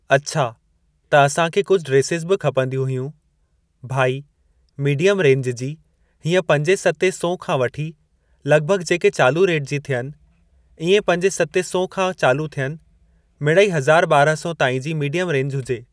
अच्छा त असां खे कुझु ड्रेसिस बि खपंदियूं हुयूं ।भाई, मीडियमु रेंज जी हीअं पंजें सतें सौ खां वठी लॻिभॻि जेके चालू रेट जी थियनि। इएं पंजें सतें सौ खां चालू थियनि। मिड़ई हज़ार ॿारह सौ ताईं जी मीडियमु रेंज हुजे।